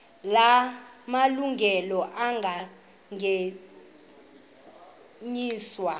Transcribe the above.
la malungelo anganyenyiswa